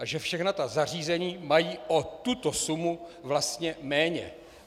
A že všechna ta zařízení mají o tuto sumu vlastně méně.